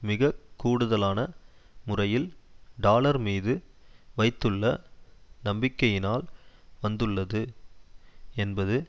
மிக கூடுதலான முறையில் டாலர்மீது வைத்துள்ள நம்பிக்கையினால் வந்துள்ளது என்பது